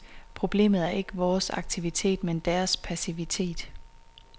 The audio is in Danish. Problemet er ikke vores aktivitet, men deres passivitet.